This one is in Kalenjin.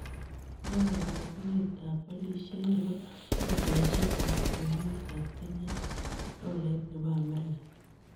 Ne karogunetap walisiet ne po fedhaisiek ap kwenetap kenya ak tolait ne po amerika